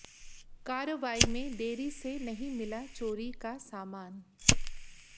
कार्रवाई में देरी से नहीं मिला चोरी का सामान